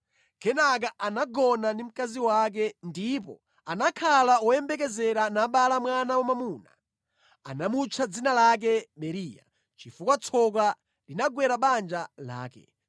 Kenaka anagona ndi mkazi wake, ndipo anakhala woyembekezera nabala mwana wamwamuna. Anamutcha dzina lake Beriya, chifukwa tsoka linagwera banja lake.